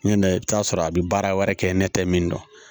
N'i nana i bi t'a sɔrɔ a bi baara wɛrɛ kɛ ne tɛ min dɔn